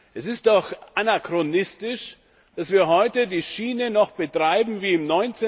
Es ist doch anachronistisch, dass wir heute die Schiene noch betreiben wie im